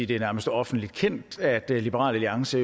det nærmest er offentligt kendt at liberal alliance